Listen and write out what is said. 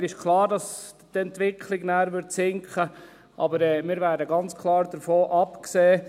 Mir ist klar, dass dieser gemäss Entwicklung danach sinken würde, aber wir werden ganz klar davon absehen.